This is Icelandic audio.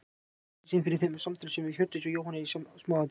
Hann rakti síðan fyrir þeim samtöl sín við Hjördísi og Jóhann í smáatriðum.